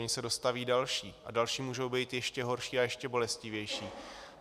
Ony se dostaví další a další můžou být ještě horší a ještě bolestivější.